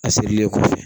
A sirilen kɔfɛ